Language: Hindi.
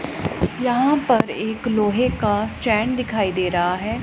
यहां पर एक लोहे का स्टैंड दिखाई दे रहा है।